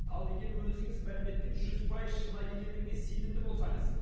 ал егер өзіңіз мәліметтің жүз пайыз шынайы екендігіне сенімді болсаңыз